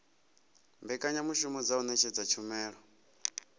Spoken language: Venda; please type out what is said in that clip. mbekanyamushumo dza u ṅetshedza tshumelo